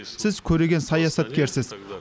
сіз көреген саясаткерсіз